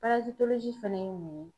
Parazitolozi fɛnɛ ye mun ye